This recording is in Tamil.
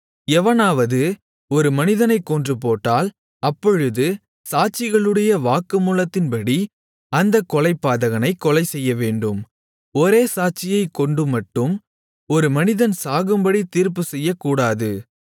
எவனாவது ஒரு மனிதனைக்கொன்றுபோட்டால் அப்பொழுது சாட்சிகளுடைய வாக்குமூலத்தின்படி அந்தக் கொலைபாதகனைக் கொலைசெய்யவேண்டும் ஒரே சாட்சியைக்கொண்டுமட்டும் ஒரு மனிதன் சாகும்படி தீர்ப்புச்செய்யக்கூடாது